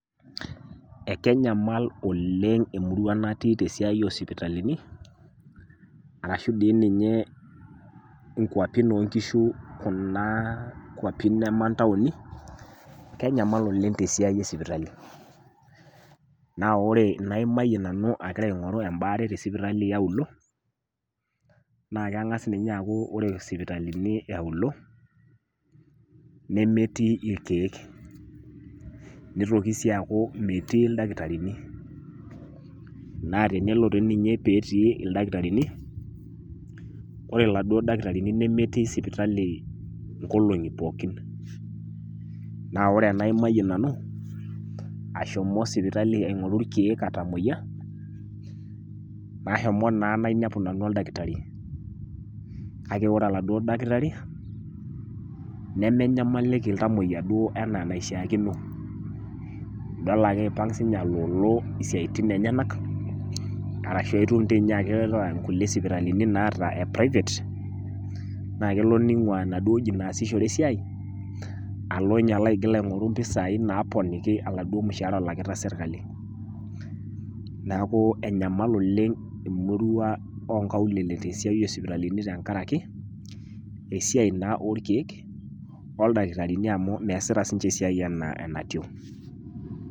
Ekenyamal oleng emurua natii tesiai osipitalini, arashu di ninye inkwapin onkishu kuna kwapi nama ntaoni, kenyamal oleng tesiai esipitali. Na ore inaimayie nanu agira aing'oru ebaare tesipitali eauluo, na keng'as ninye aku ore sipitalini eauluo, nemetii irkeek. Nitoki si aku metii ildakitarini. Na tenelo tininye petii ildakitarini, ore laduo dakitarini nemetii sipitali inkolong'i pookin. Na ore enaimayie nanu, ashomo sipitali aing'oru irkeek atamoyia, nashomo naa nainepu nanu oldakitari. Kake ore oladuo dakitari, nemenyamaliki iltamoyia duo enaa eneishaakino. Idol ake ipang' sinye aloolo isiaitin enyanak, arashu aitum tinye akeeta nkulie sipitalini naata e private, na kelo ning'ua enaduo oji naasishore esiai, alo nye aigil aing'oru mpisai naponiki aladuo mushaara alakita sirkali. Neeku enyamal oleng emurua onkaulele tesiai osipitalini tenkaraki, esiai naa orkeek, oldakitarini amu meesita sinche esiai enaa enatiu.